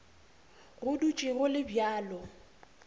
go dutše go le bjalo